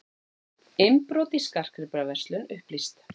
Innbrot í skartgripaverslun upplýst